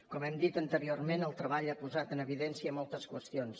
com hem dit anteriorment el treball ha posat en evidència moltes qüestions